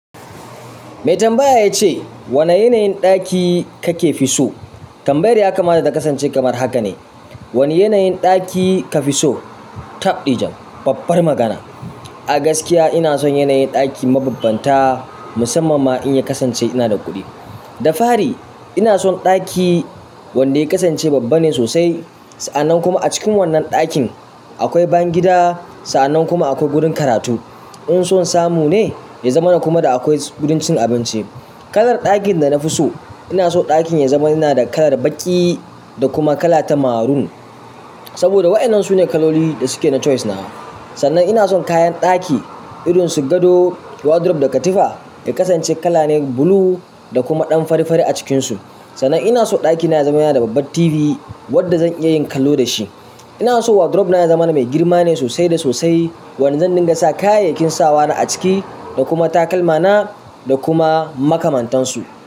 Mai tambaya yace, wane yanayin ɗaki kake fi so? Tambayar ya kamata ta kasance kamar haka ne. Wane yanayin ɗaki ka fi so? Tabdi jam, babbar magana. A gaskiya ina son yanayin ɗaki mababbanta musamman ma in ya kasance ina da kuɗi. Da fari ina son ɗaki wanda ya kasance babba ne sosai. Sa'annan kuma a cikin wannan ɗakin akwai bayan gida, sa'annan kuma akwai gurin karatu. In son samu ne ya zamana kuma da akwai gurin cin abinci. Kalar ɗakin da na fi so, ina so ɗakin ya zama yana da kalar baƙi da kuma kala ta maroon. Saboda waɗannan su ne kaloli da suke na choice na. Sannan ina son kayan ɗaki irin su gado, wardrobe da katifa ya kasance kala ne blue da kuma ɗan fari fari a cikinsu. Sannan ina so ɗakina ya zama yana da babbar TV wadda zan iya yin kallo da shi. Ina so wardrobe na ya zamana mai girma ne sosai da sosai wanda zan dinga sa kayayyakin sawa na a ciki da kuma takalmana da kuma makamantansu.